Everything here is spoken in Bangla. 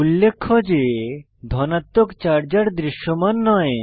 উল্লেখ্য যে ধনাত্মক চার্জ আর দৃশ্যমান নয়